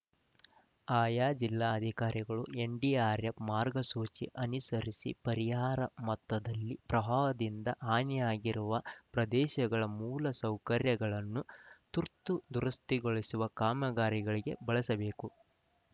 ಆಯಾ ಜಿಲ್ಲಾಧಿಕಾರಿಗಳು ಎನ್‌ಡಿಆರ್‌ಎಫ್‌ ಮಾರ್ಗಸೂಚಿ ಅನುಸರಿಸಿ ಪರಿಹಾರ ಮೊತ್ತದಲ್ಲಿ ಪ್ರವಾಹದಿಂದ ಹಾನಿಯಾಗಿರುವ ಪ್ರದೇಶಗಳ ಮೂಲಸೌಕರ್ಯಗಳನ್ನು ತುರ್ತು ದುರಸ್ತಿಗೊಳಿಸುವ ಕಾಮಗಾರಿಗಳಿಗೆ ಬಳಸಬೇಕು